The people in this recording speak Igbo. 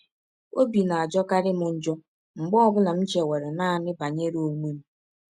Ọbi na - ajọkarị m njọ mgbe ọ bụla m chewere naanị banyere ọnwe m.